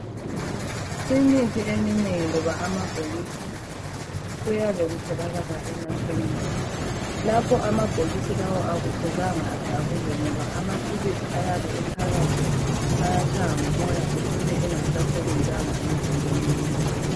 Imithi eminengi loba amabhokisi kuyabe kutholakala emakhemisi. Lawa amabhokisi akumelanga edabuke ngoba amaphilisi ayabe ephakathi ayatshaywa ngumoya ecine engasasebenzanga emzimbeni womuntu.